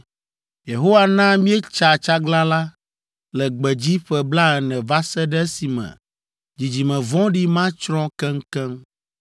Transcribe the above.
Yehowa na míetsa tsaglalã le gbedzi ƒe blaene va se ɖe esime dzidzime vɔ̃ɖi ma tsrɔ̃ keŋkeŋ.